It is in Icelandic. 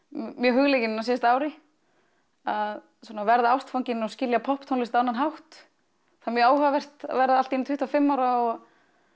mjög hugleikin á síðasta ári að verða ástfangin og skilja popptónlist á annan hátt það er mjög áhugavert að verða allt í einu tuttugu og fimm ára og